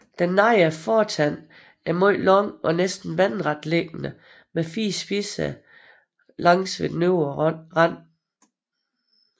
Den nedre fortand er meget lang og næsten vandretliggende med fire spidser langs den øvre rand